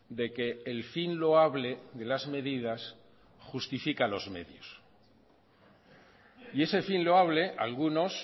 de que el fin loable de las medidas justifica los medios y ese fin loable algunos